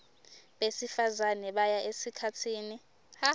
besifazane baya esikhatsini